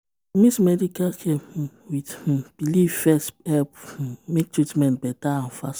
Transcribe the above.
to medical care um with um belief first help um make treatment better and fast